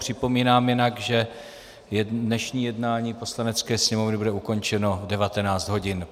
Připomínám jinak, že dnešní jednání Poslanecké sněmovny bude ukončeno v 19. hodin.